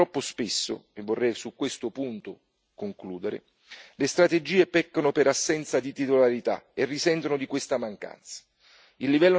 In effetti troppo spesso e vorrei su questo punto concludere le strategie peccano per assenza di titolarità e risentono di questa mancanza.